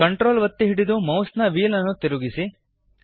CTRL ಒತ್ತಿ ಹಿಡಿದು ಮೌಸ್ನ ವ್ಹೀಲ್ ನ್ನು ತಿರುಗಿಸಿ